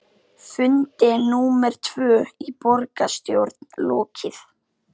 Fundi númer tvö í borgarstjórn lokið